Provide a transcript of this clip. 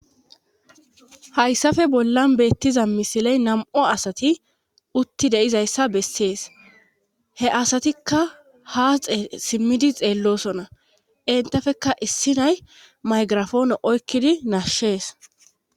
hayssafe bollan beettiza misiley nam7o asati utti deizayssa bessees he asatikka haaxe simmidi xeellosona intafeka issi nay maygirafoone oykkidi nashshees